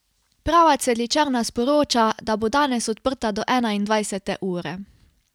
Prava cvetličarna sporoča, da bo danes odprta do enaindvajsete ure.